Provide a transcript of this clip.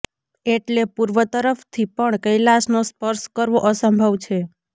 એટલે પૂર્વ તરફથી પણ કૈલાસનો સ્પર્શ કરવો અસંભવ છે